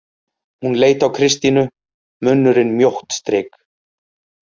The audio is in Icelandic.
Hún leit á Kristínu, munnurinn mjótt strik.